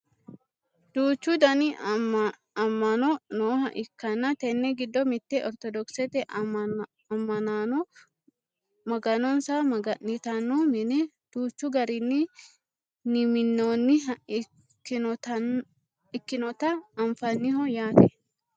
duuchu dani amma'no nooha ikkanna tenne giddo mitte ortodokisete ammanaano maganonsa maga'nitanno mine danchu garinni nminoonniha ikkannota anfanniho yaate .